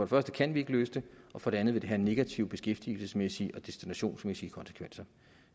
første kan vi ikke løse det og for det andet vil det have negative beskæftigelsesmæssige og destinationsmæssige konsekvenser